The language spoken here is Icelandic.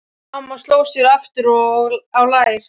Amma sló sér aftur á lær.